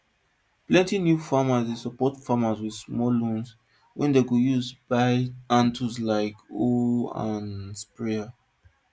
plenty new farmers dey support farmers with small loans wey dem go use buy hand tools like hoe and sprayer